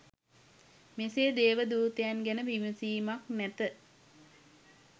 මෙසේ දේව දූතයන් ගැන විමසීමක් නැත.